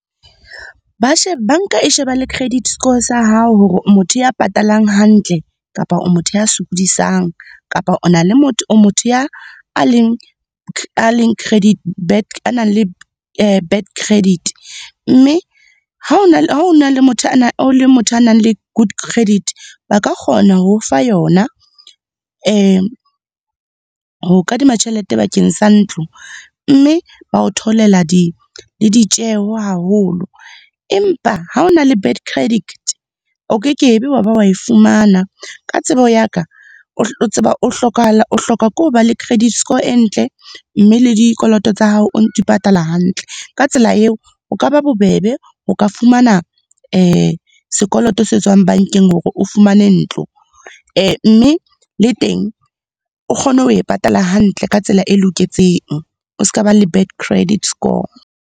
Ba banka e sheba le credit score sa hao hore o motho ya patalang hantle, kapa o motho ya sokodisang, kapa o na le motho, o motho a leng, a nang le bad credit. Mme ha ona le motho, o le motho a nang le good credit, a ka kgona ho fa yona ho kadima tjhelete bakeng sa ntlo mme ba o theolela le ditjeho haholo. Empa ha o na le bad credit, o ke ke be wa ba wa e fumana. Ka tsebo ya ka tseba o o hlokahala, o hloka ke ho ba le credit score e ntle mme le dikoloto tsa hao o di patala hantle. Ka tsela eo o ka ba bobebe o ka fumana sekoloto se tswang bankeng hore o fumane ntlo. Mme le teng o kgone ho e patala hantle ka tsela e loketseng. O ska ba le bad credit score.